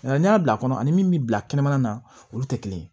Nka n'i y'a bila kɔnɔ ani min bi bila kɛnɛmana na olu tɛ kelen ye